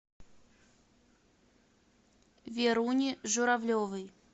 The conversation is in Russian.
веруне журавлевой